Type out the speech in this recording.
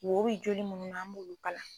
Wor bi joli munnua an b'olu kalan